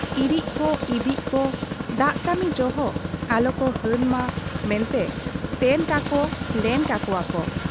ᱤᱨᱤᱡ ᱠᱚ ᱤᱵᱤᱡ ᱠᱚ ᱫᱟᱜ ᱠᱟᱹᱢᱤ ᱡᱚᱦᱚᱜ ᱟᱞᱚᱠᱚ ᱦᱟᱹᱱ ᱢᱟ ᱢᱮᱱᱛᱮ ᱛᱮᱱ ᱠᱟᱠᱚ ᱞᱮᱱ ᱠᱟᱠᱚᱣᱟ ᱠᱚ ᱾